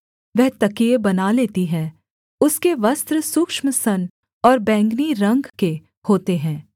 वह तकिये बना लेती है उसके वस्त्र सूक्ष्म सन और बैंगनी रंग के होते हैं